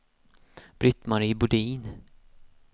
Britt-Marie Bodin